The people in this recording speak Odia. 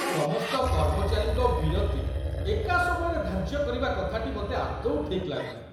ସମସ୍ତ କର୍ମଚାରୀଙ୍କ ବିରତି ଏକା ସମୟରେ ଧାର୍ଯ୍ୟ କରିବା କଥାଟି ମୋତେ ଆଦୌ ଠିକ୍ ଲାଗୁନାହିଁ।